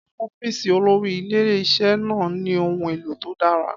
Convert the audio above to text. Ọ́fíìsì olórí ilé-iṣẹ́ náà ní ohun èlò tó dára.